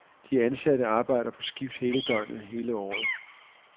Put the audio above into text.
De ansatte arbejder på skift hele døgnet hele året.